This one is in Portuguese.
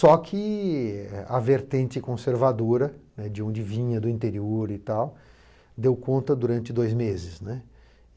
Só que a vertente conservadora, né, de onde vinha, do interior e tal, deu conta durante dois meses, né.